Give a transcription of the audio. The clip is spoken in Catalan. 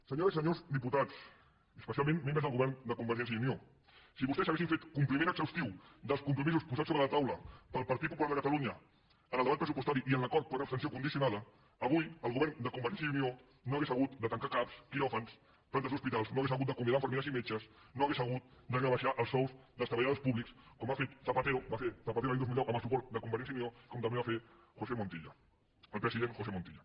senyores i senyors diputats i especialment membres del govern de convergència i unió si vostès haguessin fet compliment exhaustiu dels compromisos posats sobre la taula pel partit popular de catalunya en el debat pressupostari i en l’acord per abstenció condicionada avui el govern de convergència i unió no hauria hagut de tancar cap quiròfans plantes d’hospitals no hauria hagut d’acomiadar infermeres i metges no hauria hagut de rebaixar els sous dels treballadors públics com va fer zapatero l’any dos mil deu amb el suport de convergència i unió com també va fer josé montilla el president josé montilla